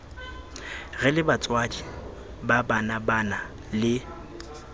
re lebatswadi ba banabana le